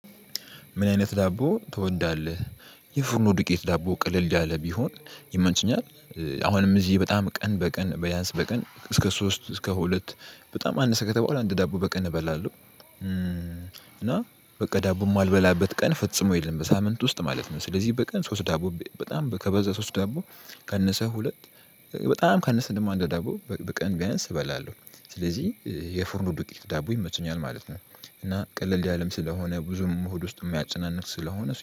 ምን አይነት ዳቦ ትወዳለህ? የፉርኖ ዱቄት ዳቦ ቀለል ያለ ቢሆን ይመቸኛል። አሁንም እዚህ በጣም ቀን በቀን በያንስ በቀን እስከ ሶስት እስከ ሁለት በጣም አነሰ ከተባለ አንድ ዳቦ በቀን እበላለሁ። እና በቃ ዳቦም የማልበላበት ቀን ፍጽሞ የለም በሳምንት ውስጥ ማለት ነው። ስለዚህ በቀን ሶስት ዳቦ በጣም ከበዛ ሶስት ዳቦ ካነሰ ሁለት በጣም ካነሰ ደሞ አንድ ዳቦ በቀን ቢያንስ እበላለሁ። ስለዚህ የፍርኖ ዱቄት ዳቦ ይመቸኛል ማለት ነው። እና ቀለል ያለም ስለሆነ ብዙም ሆድ ውስጥ የሚያጨናንቅ ስለሆነ